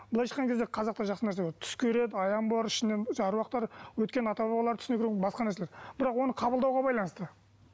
былайша айтқан кезде қазақта жақсы нәрсе бар түс көреді аян аруақтар өткен ата бабалар түсіне кіру басқа нәрселер бірақ оны қабылдауға байланысты